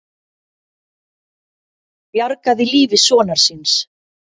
Bjargaði lífi sonar síns